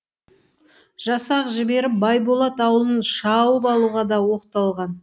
жасақ жіберіп байболат ауылын шауып алуға да оқталған